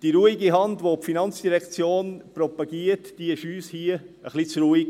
Die ruhige Hand, welche die FIN propagiert, war uns hier ein wenig zu ruhig.